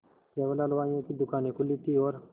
केवल हलवाइयों की दूकानें खुली थी और